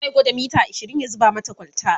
zai gwada mita ashirin ya zuba mata kwalta